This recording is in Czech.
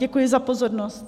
Děkuji za pozornost.